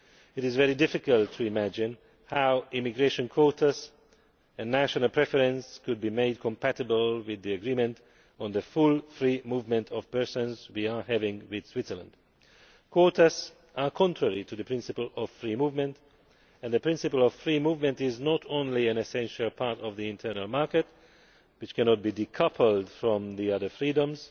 It is very difficult to imagine how immigration quotas and national preference could be made compatible with the agreement on the full free movement of persons we have with Switzerland. Quotas are contrary to the principle of free movement and the principle of free movement is not only an essential part of the internal market, which cannot be decoupled from the other freedoms,